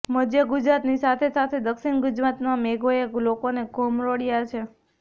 મધ્ય ગુજરાતની સાથે સાથે દક્ષિણ ગુજરાતમાં મેઘોએ લોકોને ઘમરોળ્યા છે